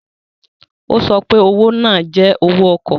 O so pe owo naa jẹ owó ọkọ.